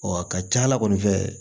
a ka ca ala kɔni fɛ